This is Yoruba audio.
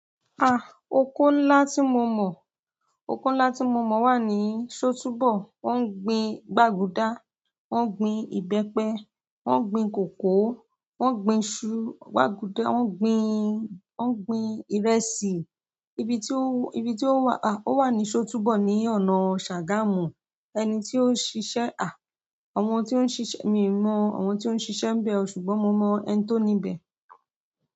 Ah! Ọkọ̀ ńlá tí mo mọ̀, ọkọ̀ ńlá tí mo mọ̀ wà ní Sótúbọ̀. Wọ́n ń gbin gbaguda, wọ́n ń gbin ìbẹ́pẹ, wọ́n ń gbin kòkó, wọ́n ń gbin iṣu, wọ́n gbin, wọ́n ń gbin ìrẹsì. Ibi tí ó, ibi tí ó wà, ah! Ó wà ní Sótúbọ̀ ní ọ̀nà Ṣàgámù. Ẹni tí ó ṣiṣẹ́ ah! Ọmọ tí o ń ṣiṣẹ́, mi mo àwọn tí o ń ṣiṣẹ́ ń bẹ̀ o sugnin mo mo ẹni tó níbẹ̀.